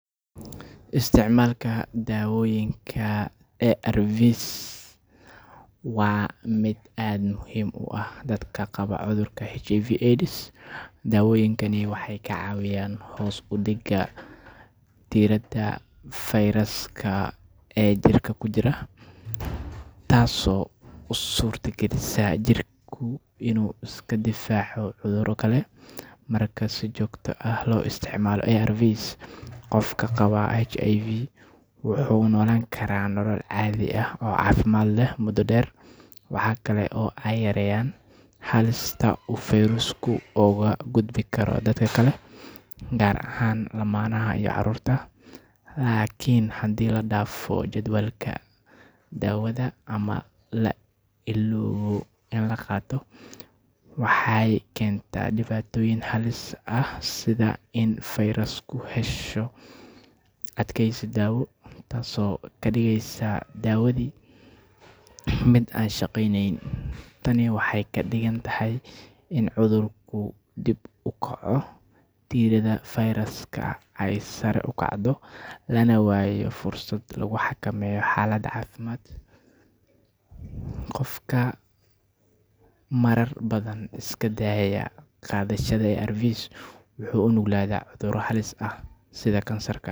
Isticmalka dawooyinka ARVs waa mid aad muhiim uah dadka qaban cudhurka HIV/AIDs. Daawoyinkani waxey kacawiyan hoos udiga diirada firuska ee jirka kujira taa oo usuurta galisa jirka in u iskadifaaco cudhuro kale. Marka si joogt ah loo isticmaalo ARVs qofka qaban HIV wuxu nolaan Kara nolol caadhi ah oo caafimad leh mudo deer waxaa kale oo ey yareeyan xalista u oo dadku ugagudbi karo dadka kale gaar ahaan lamanaha iyo caruurta. Lakin hadii ladaafo jadwalka daawadha ama lailoobo in kaqaato waxey kentaa dibaatoyiin halis ah sidha in u firusku hesho adkeysi daawo taas oo kadigeysa daawadhi mid aan shaqyneynin. Tani waxey kadigantahy in u cudhurku uu kor ukaco diirada viruska ey sare ukacdo Lana waayo fursad laguxakameyo xaalada caafimad. Qofka marar badhan iskadaaya qadhashada ARVs wuxu unugladhaa cudhuro halis ah sidha kansarka.